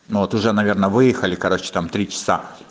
ну вот уже наверное выехали короче там три часа